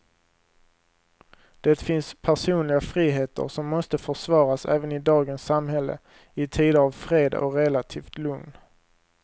Det finns personliga friheter som måste försvaras även i dagens samhälle, i tider av fred och relativt lugn.